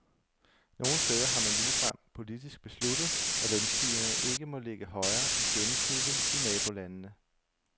Nogle steder har man ligefrem politisk besluttet, at lønstigningerne ikke må ligge højere end gennemsnittet i nabolandene.